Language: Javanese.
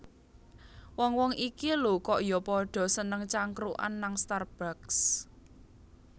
Wong wong iki lho kok yo podo seneng cangkrukan nang Starbucks